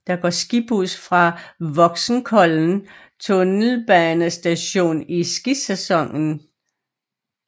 Der går skibus fra Voksenkollen tunnelbanestation i skisæsonen